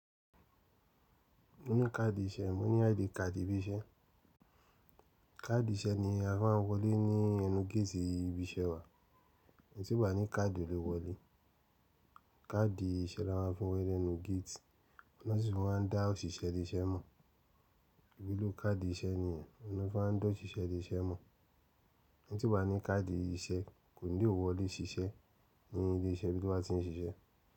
Mo ní káàdì iṣẹ́, mo ní ID card ibi iṣẹ́. Káàdì iṣẹ́ ni a fimá ń wọlé ní ẹnu géètì ibi iṣẹ́ wa. Èyí tí ò bá ní káàdì ò le wọlé. Káàdì iṣẹ́ lama fi ń wọlé lẹ́nu géètì, òun lọ́ sì fi máa ń dá òṣìṣẹ́ ilé iṣẹ́ mọ̀. Ìwúlò káàdì iṣẹ́ nìyẹn, òun ni wọ́n fi má a ń dá òṣìṣẹ́ ilé iṣẹ́ mọ̀, ẹni tí ò bá ní káàdì iṣẹ́ kò ní lè wọlé ṣiṣẹ́ ní ilé iṣẹ́ ibi tó bá ti ń ṣiṣẹ́.